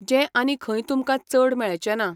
जें आनी खंय तुमकां चड मेळचेंना.